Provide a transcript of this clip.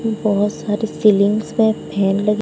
बहुत सारी सिलिंग्स में फैन लगे--